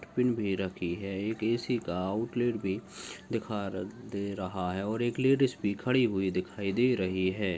आउटपिन भी रखी है एक ए_सी का आउट्लेट भी दिखा दे रहा है और एक लेडीज भी खड़ी हुई दिखाई दे रही है।